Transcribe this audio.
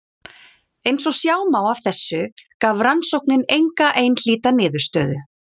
Eins og sjá má af þessu gaf rannsóknin enga einhlíta niðurstöðu.